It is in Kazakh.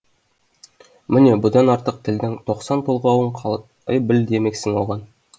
міне бұдан артық тілдің тоқсан толғауын қалай біл демексің оған